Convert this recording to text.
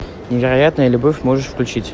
невероятная любовь можешь включить